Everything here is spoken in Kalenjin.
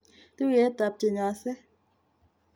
Tuyet tab chenyose